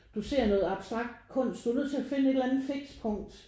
Du ser noget abstrakt kunst. Du er nødt til at finde et eller andet fikspunkt